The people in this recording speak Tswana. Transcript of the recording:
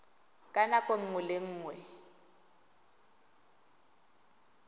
ka nako nngwe le nngwe